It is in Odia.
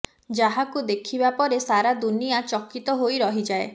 ଯାହାକୁ ଦେଖିବା ପରେ ସାରା ଦୁନିଆ ଚକିତ ହୋଇ ରହିଯାଏ